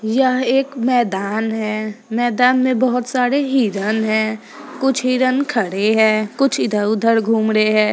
यह एक मैदान है मैदान में बहोत सारे हिरन हैं कुछ हिरन खड़े हैं कुछ इधर-उधर घूम रहे हैं।